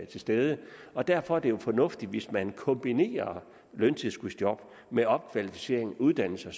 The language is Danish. til stede og derfor er det jo fornuftigt hvis man kombinerer løntilskudsjob med opkvalificering uddannelse